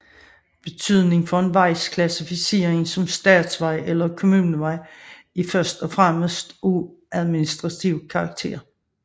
Betydningen for en vejs klassificering som statsvej eller kommunevej er først og fremmest af administrativ karakter